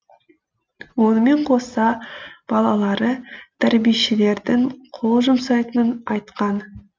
онымен қоса балалары тәрбиешілердің қол жұмсайтынын айтқан